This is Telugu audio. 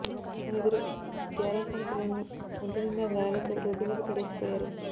మొన్న ఇద్దరు గ్యారా సాల్ పిల్లలను ఒంటి నిండా గాయాలతో రోడ్డు మీద పడేసి పొయారు